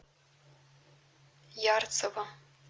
ярцево